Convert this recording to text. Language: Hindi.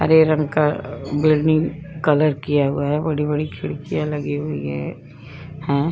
हरे रंग का बिल्डिंग कलर किया हुआ है। बड़ी-बड़ी खिड़किया लगी हुई हैं।